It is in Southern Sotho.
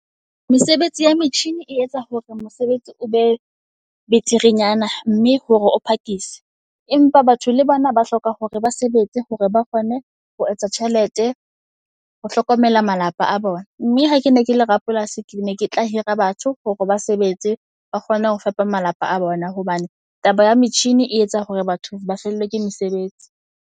Mesebetsi ya metjhini e etsa hore mosebetsi o be beterenyana mme hore o phakise. Empa batho le bona ba hloka hore ba sebetse hore ba kgone ho etsa tjhelete ho hlokomela malapa a bona. Mme ha ke ne ke le Rapolasi, ke ne ke tla hira batho hore ba sebetse ba kgone ho fepa malapa a bona. Hobane taba ya metjhini e etsa hore batho ba fellwe ke mesebetsi.